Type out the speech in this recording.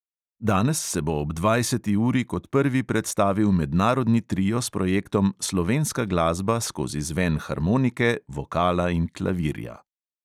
Danes se bo ob dvajseti uri kot prvi predstavil mednarodni trio s projektom slovenska glasba skozi zven harmonike, vokala in klavirja.